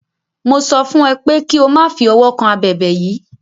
Mo sọ fún é pè ki o ma fi ọwọ kan abèbè yìí.